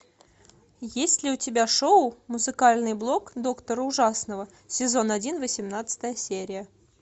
есть ли у тебя шоу музыкальный блог доктора ужасного сезон один восемнадцатая серия